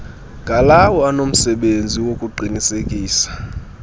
ngalawo anomsebenzi wokuqinisekisa